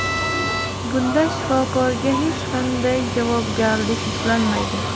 Bunda shifokorga hech qanday javobgarlik yuklanmaydi.